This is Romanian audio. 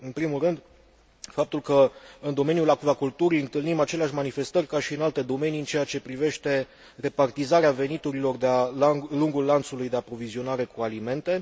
În primul rând, faptul că în domeniul acvaculturii întâlnim aceleași manifestări ca și în alte domenii în ceea ce privește repartizarea veniturilor de a lungul lanțului de aprovizionare cu alimente.